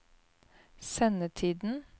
sendetiden